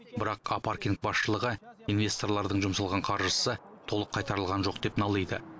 бірақ а паркинг басшылығы инвесторлардың жұмсалған қаржысы толық қайтарылған жоқ деп налиды